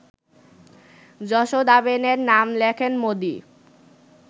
যশোদাবেনের নাম লেখেন মোদি